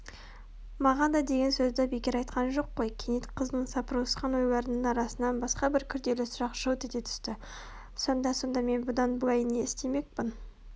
маған да деген сөзді бекер айтқан жоқ қой кенет қыздың сапырылысқан ойларының арасынан басқа бір күрделі сұрақ жылт ете түсті сонда сонда мен бұдан былай не істемекпін